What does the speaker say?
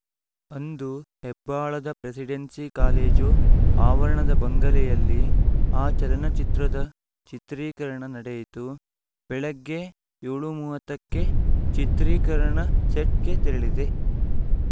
ಅಂದು ಹೆಬ್ಬಾಳದ presidency college ಆವರಣದ ಬಂಗಲೆಯಲ್ಲಿ ಆ ಚಲನಚಿತ್ರದ ಚಿತ್ರೀಕರಣ ನಡೆಯಿತು ಬೆಳಗ್ಗೆ ಏಳು ಮೂವತ್ತ ಕ್ಕೆ ಚಿತ್ರೀಕರಣ ಸೆಟ್‌ಗೆ ತೆರಳಿದೆ